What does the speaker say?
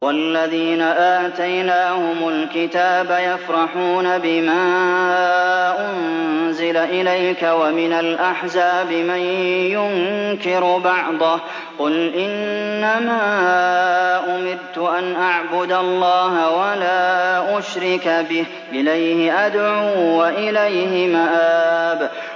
وَالَّذِينَ آتَيْنَاهُمُ الْكِتَابَ يَفْرَحُونَ بِمَا أُنزِلَ إِلَيْكَ ۖ وَمِنَ الْأَحْزَابِ مَن يُنكِرُ بَعْضَهُ ۚ قُلْ إِنَّمَا أُمِرْتُ أَنْ أَعْبُدَ اللَّهَ وَلَا أُشْرِكَ بِهِ ۚ إِلَيْهِ أَدْعُو وَإِلَيْهِ مَآبِ